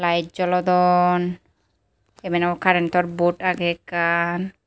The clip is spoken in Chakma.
light jolodon ebenot current or board age ekkan.